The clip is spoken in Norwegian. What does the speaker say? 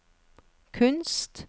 kunst